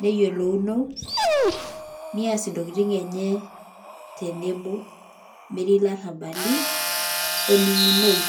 neyiolouno nees ntokitin enye tenebo metii ilarrabali ening'unoi.